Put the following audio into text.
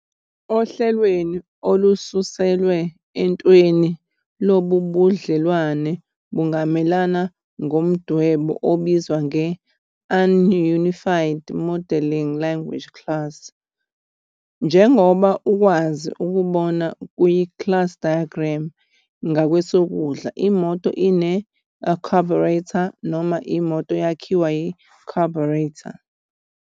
Ohlelweni olususelwe entweni lobu budlelwano bungamelelwa ngomdwebo obizwa nge-Unified Modeling Language Class. Njengoba ukwazi ukubona ku-Class Diagram ngakwesokudla imoto "ine-a" carburetor, noma imoto "yakhiwa" yi-carburetor.